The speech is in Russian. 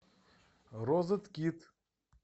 розеткит